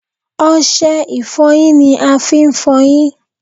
Ọṣẹ ìfọyín ni a fi ń f'ọyín.